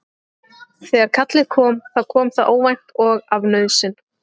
Þegar kallið kom þá kom það óvænt og af nauðsyn.